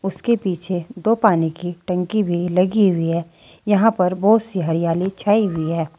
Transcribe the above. उसके पीछे दो पानी की टंकी भी लगी हुई है यहां पर बहुत सी हरियाली छाई हुई है।